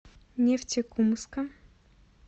нефтекумска